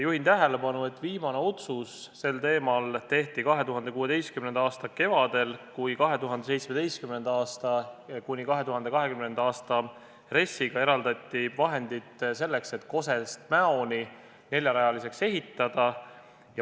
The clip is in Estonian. Juhin tähelepanu, et viimane otsus sel teemal tehti 2016. aasta kevadel, kui 2017.–2020. aasta RES-iga eraldati vahendid selleks, et Koselt Mäoni maantee neljarajaliseks ehitada.